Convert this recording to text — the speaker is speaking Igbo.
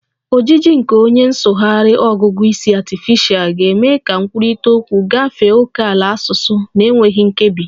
Ojiji nke onye nsụgharị ọgụgụ isi artificial ga-eme ka nkwurịta okwu gafee ókèala asụsụ na-enweghị nkebi